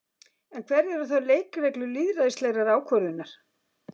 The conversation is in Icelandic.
En hverjar eru þá leikreglur lýðræðislegrar ákvörðunar?